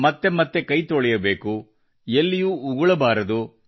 ನಿರಂತರ ಕೈತೊಳೆಯಬೇಕು ಎಲ್ಲಿಯೂ ಉಗುಳಬಾರದು